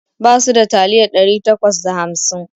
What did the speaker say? Basu da taliyar ɗari takwas da hamsin